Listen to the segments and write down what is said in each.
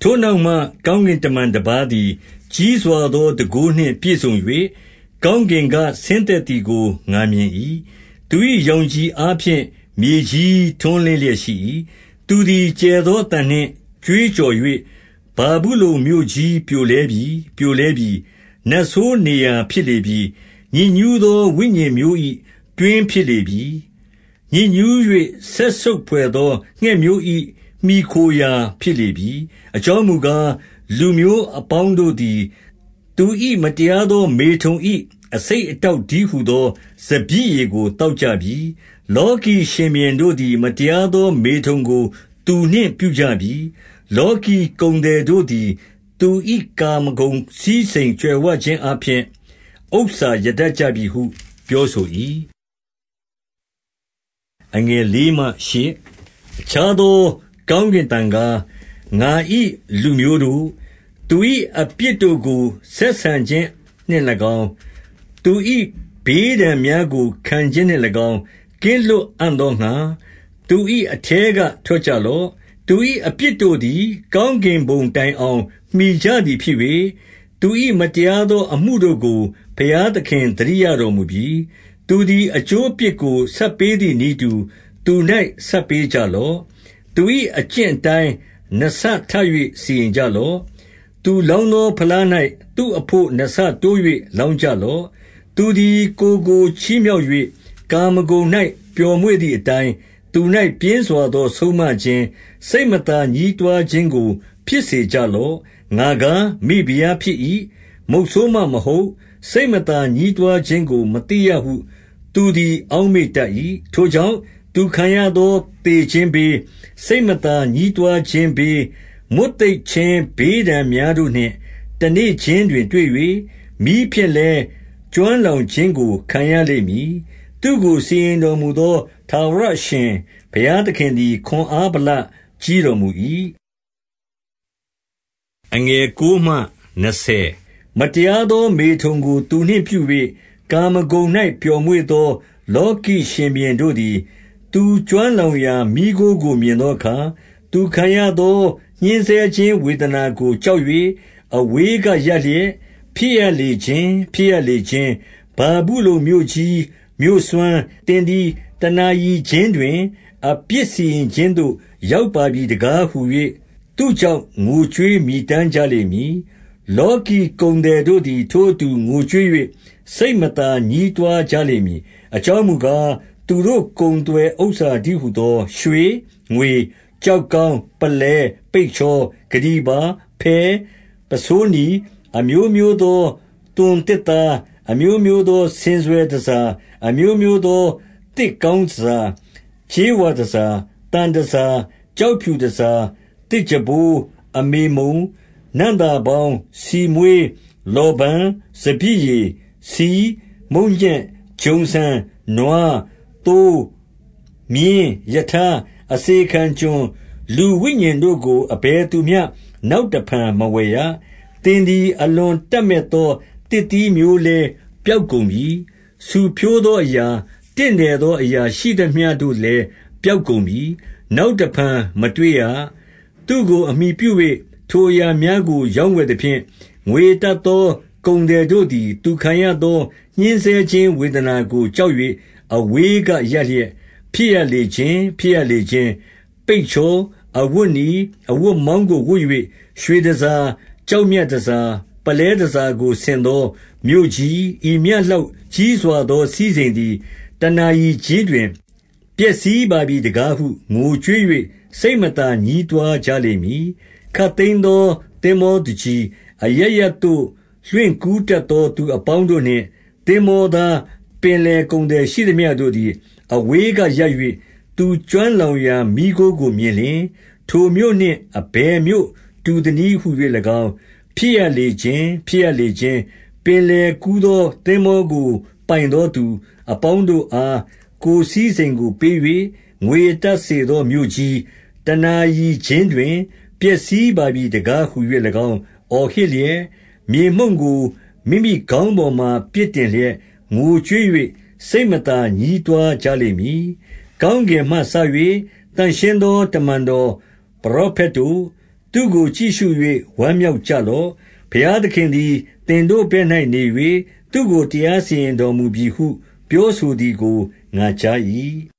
ထိုနောက်မှ ကောင်းကင်တမန် တပါးသည် ကြီးစွာသော တန်ခိုးနှင့်ပြည့်စုံ၍ ကောင်းကင်က ဆင်းသက်သည်ကို ငါမြင်၏။ သူ၏ ရောင်ခြည်အားဖြင့် မြေကြီးထွန်းလင်းလျက်ရှိ၏။ သူသည်ကျယ်သောအသံနှင့် ကြွေးကြော်၍၊ ဗာဗုလုန်မြို့ကြီးပြိုလဲပြီ။ ပြိုလဲပြီ။ နတ်ဆိုးနေရာ ဖြစ်လေ ပြီ။ ညစ်ညူးသော ဝိညာဉ်မျိုး၏ တွင်းဖြစ်လေပြီ။ ညစ်ညူး၍ စက်ဆုပ်ဘွယ်သော ငှက်မျိုး၏ မှီခိုရာ ဖြစ်လေပြီ။ အကြောင်းမူကား၊ လူမျိုးအပေါင်းတို့သည် သူ၏ မတရားသော မေထုန်၏ အဆိပ်အတောက်တည်းဟူ သော စပျစ်ရည်ကိုသောက်ကြပြီ။ လောကီရှင်ဘုရင်တို့သည် မတရားသော မေထုန်ကို သူနှင့်ပြုကြပြီ။ လောကီကုန်သည်တို့သည် သူ၏ ကာမဂုဏ်စည်းစိမ် ကြွယ်ဝခြင်းအားဖြင့် ဥစ္စာရတတ်ကြပြီဟု ပြောဆို၏။ အခြားသော ကောင်းကင်အသံကား၊ ငါ၏ လူမျိုးတို့၊ သူ၏ အပြစ်တို့ကို ဆက်ဆံခြင်းနှင့်၎င်း၊ သူ၏ ဘေးဒဏ်များကို ခံခြင်းနှင့်၎င်း၊ ကင်းလွတ်အံ့သောငှါ၊ သူ၏အထဲကထွက်ကြလော့။ သူ၏အပြစ်တို့သည် ကောင်းကင်ဘုံတိုင်အောင် မှီကြသည်ဖြစ်၍၊ သူ၏မတရားသောအမှုတို့ကို ဘုရား သခင် သတိရတော်မူပြီ။ သူသည် အကျိုးအပြစ်ကို ဆပ်ပေးသည်နည်းတူ သူ၌ ဆပ်ပေးကြလော့။ သူ၏အကျင့်အတိုင်း နှစ်ဆထပ်၍ စီရင်ကြလော့။ သူလောင်းသော ဖလား၌ သူ့အဘို့ နှစ်ဆတိုး၍ လောင်းကြလော့။ သူသည်ကိုယ်ကို ချီးမြှောက်၍ ကာမဂုဏ်၌ ပျော်မွေ့သည်အတိုင်း သူ၌ ပြင်းစွာသော ဆုံးမခြင်း၊ စိတ်မသာ ညည်းတွားခြင်းကို ဖြစ်စေကြလော့။ ငါကား မိဖုရားဖြစ်၏။ မုတ်ဆိုးမ မဟုတ်။ စိတ်မသာညည်း တွားခြင်းကို မသိရဟု သူသည် အောက်မေ့တတ်၏။ ထိုကြောင့်၊ သူခံရသောသေခြင်းဘေး၊ စိတ်မသာညည်းတွားခြင်းဘေး၊ မွတ်သိပ်ခြင်း ဘေးဒဏ်များ တို့နှင့် တနေ့ခြင်းတွင်တွေ့၍၊ မီးဖြင့်လည်း ကျွမ်းလောင်ခြင်းကို ခံရလိမ့်မည်။ သူ့ကို စီရင်တော်မူသော ထာဝရ အရှင်ဘုရားသည် ခွန်အားဗလကြီးတော်မူ၏။ မတရားသောမေထုန်ကို သူနှင့်ပြု၍ ကာမဂုဏ်၌ ပျော်မွေ့သော လောကီရှင်ဘုရင်တို့သည်၊ သူကျွမ်း လောင်ရာ မီးခိုးကို မြင်သောအခါ၊ သူခံရသော ညှဉ်းဆဲခြင်းဝေဒနာကို ကြောက်၍ အဝေးကရပ်လျက်၊ ဖြစ်ရလေခြင်း၊ ဖြစ်ရလေခြင်း။ ဗာဗုလုန်မြို့ကြီး၊ မြို့စွမ်း၊ သင်သည်တနာရီခြင်းတွင် အပြစ်စီရင်ခြင်းသို့ ရောက်ပါပြီတကားဟူ၍ သူ့ကြောင့် ငိုကြွေးမြည်တမ်းကြလိမ့်မည်။ လောကီကုန်သည်တို့သည် ထိုအတူ ငိုကြွေး၍ စိတ်မသာ ညည်းတွားကြလိမ့်မည်။ အကြောင်းမူကား ၊ သူတို့ ကုန်သွယ်ဥစ္စာတည်း ဟူသော၊ ရွှေ၊ငွေ ၊ ကျောက်ကောင်း ၊ ပုလဲ ၊ ပိတ်ချော ၊ ကတ္တီပါ ၊ ဖဲ၊ ပုဆိုးနီ ၊ အမျိုးမျိုးသောသွိန်သစ်သား၊ အမျိုးမျိုးသောဆင်စွယ်တန်ဆာ၊ အမျိုးမျိုးသော သစ်ကောင်း တန်ဆာ၊ ကြေးဝါတန်ဆာ၊ သံတန်ဆာ၊ ကျောက်ဖြူ တန်ဆာ၊ သစ်ကြံပိုး၊ အမေမုန်၊ နံ့သာပေါင်း၊ ဆီမွှေး၊ လောဗန်၊ စပျစ်ရည်၊ ဆီ၊ မုန့်ညက်၊ ဂျုံဆန်၊ နွား၊ သိုး၊ မြင်း၊ ရထား၊ အစေခံကျွန် ၊ လူဝိညာဉ်တို့ကို အဘယ်သူမျှ နောက်တဖန်မဝယ်ရ။ သင်သည် အလွန်တပ်မတ်သော သစ်သီးမျိုးလည်း ပျောက်ကုန်ပြီ ဆူဖျိုးသောအရာ၊ တင့်တယ်သော အရာရှိသမျှတို့လည်း ပျောက်ကုန်ပြီ။ နောက်တဖန် မတွေ့ရ။ သူ့ကိုအမှီပြု၍ ထိုအရာများကို ရောင်းဝယ်သဖြင့်၊ ငွေရတတ်သော ကုန်သည်တို့သည် သူခံရသော ညှဉ်းဆဲခြင်းဝေဒနာကို ကြောက်၍ အဝေးကရပ်လျက်၊ ဖြစ်ရလေခြင်း၊ ဖြစ်ရလေခြင်း၊ ပိတ်ချော၊ အဝတ်နီ၊ အဝတ်မောင်းကို ဝတ်၍၊ ရွှေတန်ဆာ၊ ကျောက်မြတ်တန်ဆာ၊ ပုလဲတန်ဆာကို ဆင်သောမြို့ကြီး၊ ဤမျှလောက်ကြီးစွာသော စည်းစိမ်သည် တနာရီခြင်းတွင် ပျက်စီးပါပြီတကားဟု ငိုကြွေး၍ စိတ်မသာ ညည်းတွားကြလိမ့်မည်။ ခပ်သိမ်းသော သင်္ဘောသူကြီး၊ အရပ်ရပ်သို့ လွှင့်ကူးတတ်သော သူအပေါင်းတို့နှင့် သင်္ဘောသား၊ ပင်လယ်ကုန်သည် ရှိသမျှတို့သည် အဝေးကရပ်၍ သူကျွမ်းလောင်ရာမီးခိုးကိုမြင်လျှင်၊ ထိုမြို့နှင့် အဘယ်မြို့ တူသနည်းဟူ၍၎င်း၊ ဖြစ်ရလေခြင်း၊ ဖြစ်ရလေခြင်း၊ ပင်လယ်ကူး သော သင်္ဘောကို ပိုင်သော သူအပေါင်းတို့အား ကိုယ် စည်စိမ်ကိုပေး၍ ငွေရတတ်စေသော မြို့ကြီး၊ တနာရီ ခြင်းတွင် ပျက်စီးပါပြီ တကားဟူ၍၎င်း အော်ဟစ်လျက်၊ မြေမှုန့်ကို မိမိတို့ခေါင်းပေါ်မှာ ပစ်တင်လျက် ငိုကြွေး၍ စိတ်မသာ ညည်းတွားကြလိမ့်မည်။ ကောင်းကင်မှစ၍ သန့်ရှင်းသူတမန်တော် ပရောဖက်တို့၊ သူကို ကြည့်ရှု၍ ဝမ်းမြောက်ကြလော့။ ဘုရားသခင်သည် သင်တို့ဘက်၌နေ၍၊ သူ့ကို တရားစီရင် တော်မူပြီဟု ပြောဆိုသည်ကို ငါကြား၏။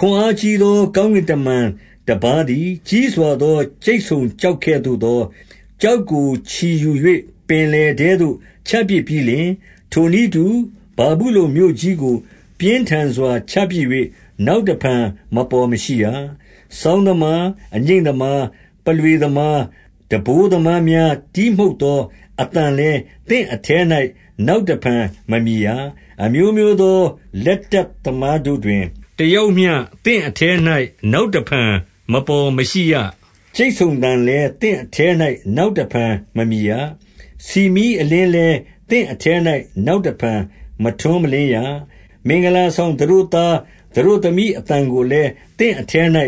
ခွန်အားကြီးသော ကောင်းကင်တမန်တပါးသည် ကြီးစွာသော ကြိတ်ဆုံကျောက်ကဲ့သို့သော ကျောက်ကို ချီယူ၍ ပင်လယ်ထဲသို့ ချပစ်ပြီးလျှင် ထိုနည်းတူ၊ ဗာဗုလုန်မြို့ကြီးကို ပြင်းထန်စွာ ချပစ်၍ နောက်တဖန် မပေါ်မရှိရ။ စောင်းသမား၊ အငြိမ့်သမား၊ ပုလွေသမား၊ တံပိုးသမားများ တီးမှုတ်သော အသံလည်း သင့်အထဲ၌ နောက်တဖန်မမြည်ရ။ အမျိုးမျိုးသော လက်တတ်သမား တို့တွင် တယောက်မျှ သင့်အထဲ၌ နောက်တဖန် မပေါ် မရှိရ။ ကြိတ်ဆုံသံလည်း သင့်အထဲ၌ နောက်တဖန် မမြည်ရ။ ဆီမီးအလင်းလည်း သင့်အထဲ၌ နောက်တဖန် မထွန်းမလင်းရ။ မင်္ဂလာဆောင် သတို့သားသတို့သမီး အသံကိုလည်း သင့်အထဲ၌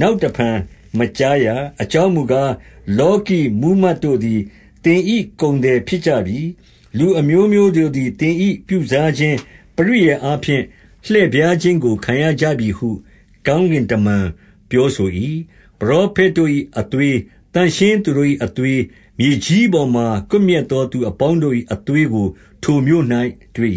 နောက်တဖန် မကြားရ။ အကြောင်းမူကား၊ လောကီမှူးမတ်တို့သည် သင်၏ ကုန်သည်ဖြစ်ကြပြီ။ လူအမျိုးမျိုးတို့သည် သင်၏ ပြုစားခြင်း ပရိယာယ်အားဖြင့် လှည့်ဖြားခြင်းကို ခံရကြ ပြီဟု ကောင်းကင်တမန် ပြောဆို၏။ ပရောဖက်တို့၏ အသွေး၊ သန့်ရှင်းသူတို့၏ အသွေး၊ မြေကြီးပေါ်မှာ ကွပ်မျက်သောသူ အပေါင်းတို့၏ အသွေးကို ထိုမြို့၌တွေ့